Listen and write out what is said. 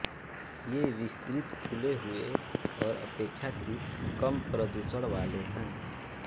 ये विस्तृत खुले हुए और अपेक्षाकृत कम प्रदूषण वाले हैं